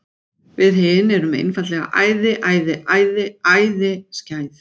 Við hin erum einfaldlega æði, æði, æði, æði skæð.